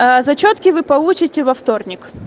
а зачётки вы получите во вторник